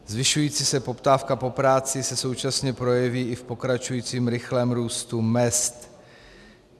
Zvyšující se poptávka po práci se současně projeví i v pokračujícím rychlém růstu mezd.